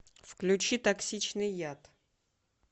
включи токсичный яд